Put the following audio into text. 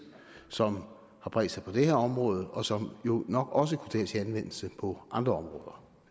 som har bredt sig på det her område og som jo nok også kunne tages i anvendelse på andre